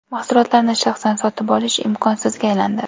Mahsulotlarni shaxsan sotib olish imkonsizga aylandi.